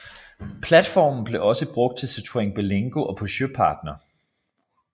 Platformen blev også brugt til Citroën Berlingo og Peugeot Partner